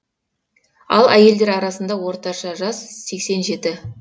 ал әйелдер арасындағы орташа жас сексен жеті